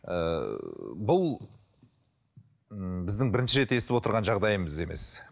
ыыы бұл м біздің бірінші рет естіп отырған жағдайымыз емес